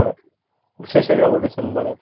শেষে যাব December এর